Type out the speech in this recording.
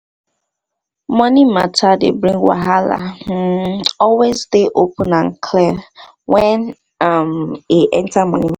money matter dey bring wahala um always dey open and clear when um e enter money matter